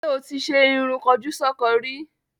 Ṣé o ti ṣe irun kọjúsọ́ko rí?